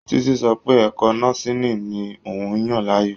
Títí sọ pẹ́ ẹ̀kọ́ nọ́síìnì ni òun yàn láàyò.